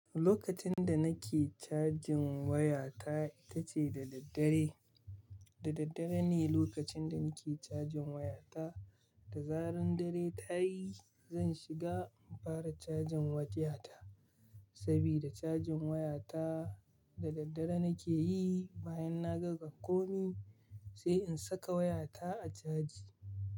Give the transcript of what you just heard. Lokacin da nake cajin wayata ita ce da daddare, da daddare ne lokacin da nake cajin wayata, da zaran dare ta yi zan shiga in fara cajin wayata saboda cajin wayata da daddare nake yi. Bayan na gama komi sai in saka wayata a caji.